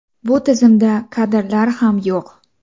Bu tizimda kadrlar ham yo‘q.